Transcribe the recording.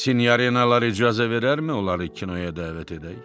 Sinyarinalar icazə verərmi onları kinoya dəvət edək?